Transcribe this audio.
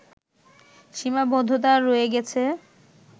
সীমাবদ্ধতা রয়ে গেছে